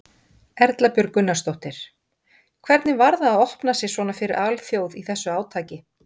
Erla Björg Gunnarsdóttir: Hvernig var það að opna sig svona fyrir alþjóð í þessu átaki?